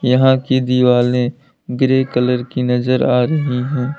यहां की दिवाले ग्रे कलर की नजर आ रही है।